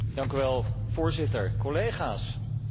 Beleid heeft een hele nare eigenschap.